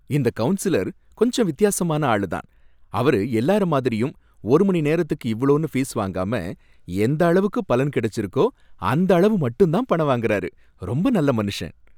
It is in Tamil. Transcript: இந்த கவுன்சலர் கொஞ்சம் வித்தியாசமான ஆளு தான், அவரு எல்லார மாதிரியும் ஒரு மணி நேரத்துக்கு இவ்ளோனு ஃபீஸ் வாங்காம எந்த அளவுக்கு பலன் கிடைச்சிருக்கோ அந்த அளவு மட்டும் தான் பணம் வாங்குறாரு, ரொம்ப நல்ல மனுஷன்.